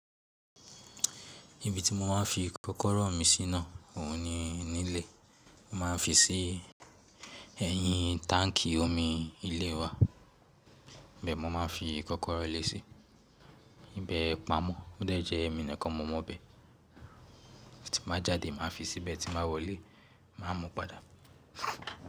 Ibi tí mo máa ń fi kọ́kọ́rọ́ mi sí ná òhun ni nílé. Mo máa ń fi sí ẹyin táǹkì omi ilé wa. Ibẹ́ẹ̀ ni mo máa ń fi kọ́kọ́rọ́ lé sí ibi ìbẹ́ pámọ́. Ó dẹ̀ jẹ́ èmi nìkan mo mọ bẹ́ẹ̀. Tí n ba jáde màá fi síbẹ̀ tí n bá wọlé, màá mú padà.